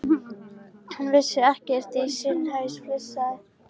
Hann vissi ekkert í sinn haus, flissaði